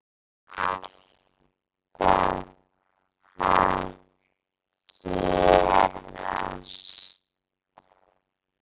Þetta var alltaf að gerast.